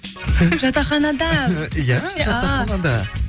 жатақханада иә жатақханада